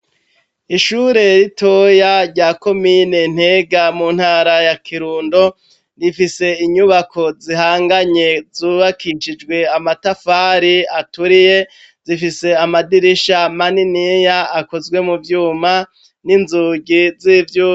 Ishure ritoya rya komine Ntega, mu ntara ya Kirundo, rifise inyubako zihanganye, zubakishijwe amatafari aturiye. Zifise amadirisha maniniya akozwe mu vyuma n'inzugi z'ivyuma.